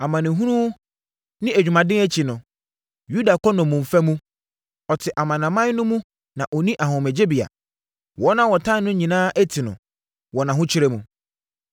Amanehunu ne adwumaden akyi no, Yuda kɔ nnommumfa mu. Ɔte amanaman no mu na ɔnni ahomegyebea Wɔn a wɔtaa no nyinaa ati no wɔ nʼahokyere mu.